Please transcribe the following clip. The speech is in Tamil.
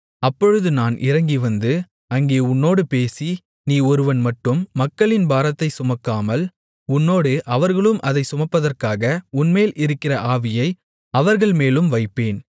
அப்பொழுது நான் இறங்கிவந்து அங்கே உன்னோடு பேசி நீ ஒருவன் மட்டும் மக்களின் பாரத்தைச் சுமக்காமல் உன்னோடு அவர்களும் அதைச் சுமப்பதற்காக உன்மேல் இருக்கிற ஆவியை அவர்கள்மேலும் வைப்பேன்